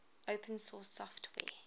open source software